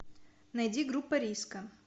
найди группа риска